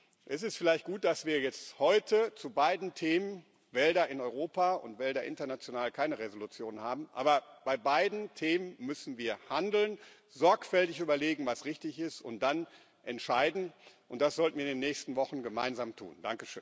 Es ist vielleicht gut, dass wir jetzt heute zu beiden Themen Wälder in Europa und Wälder international keine Entschließung haben, aber bei beiden Themen müssen wir handeln, sorgfältig überlegen, was richtig ist, und dann entscheiden, und das sollten wir in den nächsten Wochen gemeinsam tun.